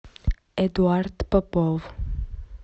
эдуард попов